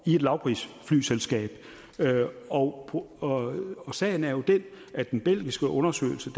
i et lavprisflyselskab og og sagen er jo den at den belgiske undersøgelse